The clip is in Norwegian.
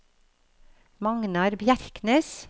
Magnar Bjerknes